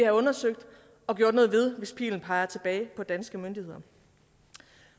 undersøgt og gjort noget ved hvis pilen peger tilbage på danske myndigheder